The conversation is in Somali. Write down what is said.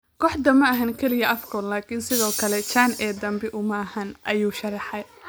"Kooxdani ma ahan kaliya Afcon laakiin sidoo kale CHAN ee dambe uma ahan," ayuu sharaxay.